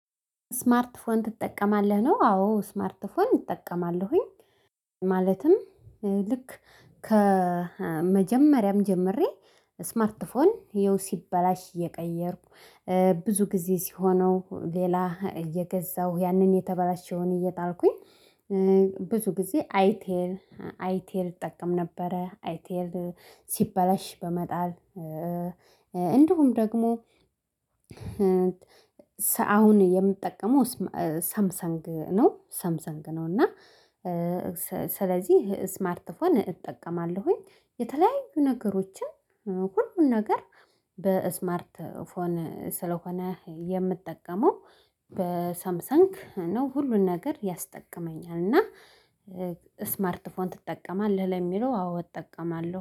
ስማርት ፖን ትጠቀማለህ ነው? አዎ ስማርት ፖን እጠቀማለሁኝ። ማለትም ልክ ከመጀመሪያም ጀምሬ ስማርት ፖን ይኸው ሲበላሽ እየቀየርኩ ብዙ ጊዜ ሲሆነው ሌላ እየገዛሁ ያንን የተበላሸሁኝ እየጣልኩኝ ብዙ ጊዜ አይቴል አይቴል እጠቀም ነበረ አይቴል ሲበላሽ በመጣል እንደሁም ደግሞ አሁን የምጠቀመው ሳምሰንግ ነው። ሳምሰንግ ነው እና ስለዚህ ስማርት ፎን እጠቀማለሁኝ የተለያዩ ነገሮችን ሁሉን ነገር በስማርት ፎን የምጠቀመው በሳምሰንክ ነው ሁሉን ነገር ያስጠቅመኛል። እና ስማርት ፎን ትጠቀማለህ ለሚለው አዎ እጠቀማለሁ